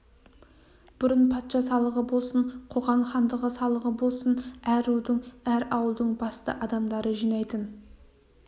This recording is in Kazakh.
бұрын патша салығы болсын қоқан хандығы салығы болсын әр рудың әр ауылдың басты адамдары жинайтын